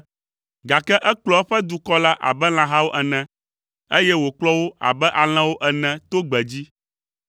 Gake ekplɔ eƒe dukɔ la abe lãhawo ene, eye wòkplɔ wo abe alẽwo ene to gbedzi.